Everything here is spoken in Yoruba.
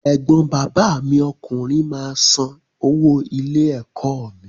Ẹ̀gbọ́n bàbá mi ọkùnrin máa san owó ilé-ẹ̀kọ́ mi.